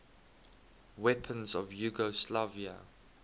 weapons of yugoslavia